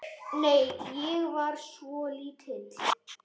Nei, ég var svo lítil.